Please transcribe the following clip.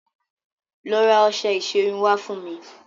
Lọ ra ọṣẹ ìṣerun wá fún mi.